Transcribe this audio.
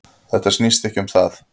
Þetta snýst ekki um það